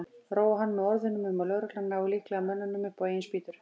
Róa hann með orðum um að lögreglan nái líklega mönnunum upp á eigin spýtur.